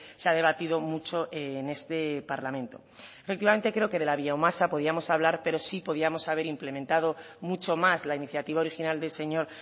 se ha debatido mucho en este parlamento efectivamente creo que de la biomasa podíamos hablar pero sí podíamos haber implementado mucho más la iniciativa original del señor